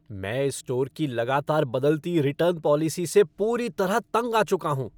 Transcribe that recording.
मैं इस स्टोर की लगातार बदलती रिटर्न पॉलिसी से पूरी तरह तंग आ चुका हूं।